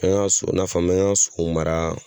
An so n'a fɔ n'an y'an so mara